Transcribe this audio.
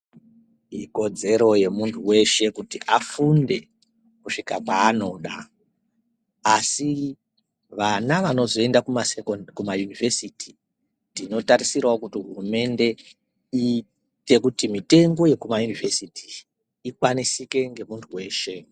Ikodzero ye muntu weshe kuti afunde kusvika paanoda asi vana vanozo enda kuma yunivheziti tino tarisirawo kuti hurumende iite kuti mitengo ye kuma yunivhesiti ikwanisike nge muntu weshe.